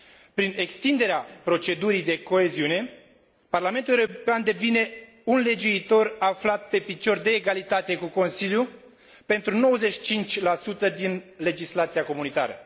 Prin extinderea procedurii de codecizie, Parlamentul European devine un legiuitor aflat pe picior de egalitate cu Consiliul pentru 95 din legislația comunitară.